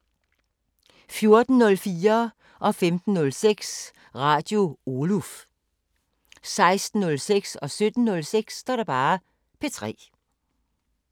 14:04: Radio Oluf 15:06: Radio Oluf 16:06: P3 17:06: P3